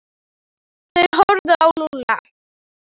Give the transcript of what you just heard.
Þeir horfðu á Lúlla.